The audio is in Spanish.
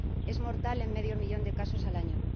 Es mortal en medio millón de casos al año.